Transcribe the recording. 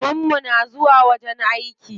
Maman mu na zuwa wajen aiki.